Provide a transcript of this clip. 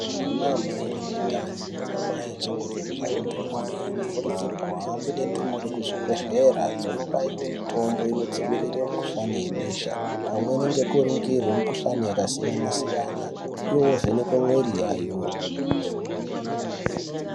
Ana mai ane ndani nana amai achangobve ku zvare ndumure anokurudzirwe kuhambe ne ndumure ku zvibhedhlera zvono baiwe mutombo ino dzivirira mi kuhlani ye besha pamweni ngeku ningirwa mu kuhlani yaka siyana siyana iwo vo vhenekwa mwiri yayo.